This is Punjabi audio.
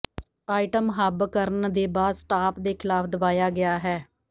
ਆਈਟਮ ਹੱਬ ਕਰਨ ਦੇ ਬਾਅਦ ਸਟਾਪ ਦੇ ਖਿਲਾਫ ਦਬਾਇਆ ਗਿਆ ਹੈ